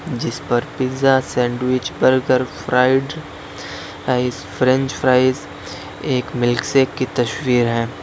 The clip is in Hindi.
जिस पर pizza sandwich burger fried ice French fries एक मिल्कशेक की तस्वीर है।